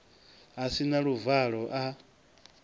a si na luvalo a